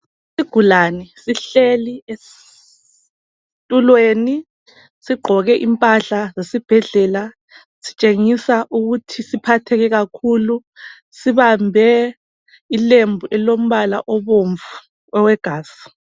Isigulani sihleli esitulweni sigqoke impahla zesibhedlela. Sitshengisa ukuthi siphatheke kakhulu. Sibambe ilembu elilombala obomvu owegazi.